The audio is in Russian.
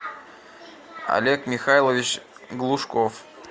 олег михайлович глушков